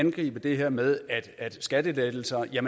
angribe det her med skattelettelser ved at